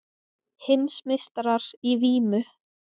Heimsmeistarar í vímu